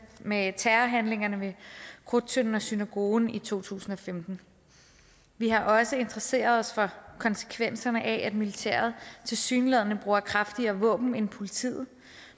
med terrorhandlingerne ved krudttønden og synagogen i to tusind og femten vi har også interesseret os for konsekvenserne af at militæret tilsyneladende bruger kraftigere våben end politiet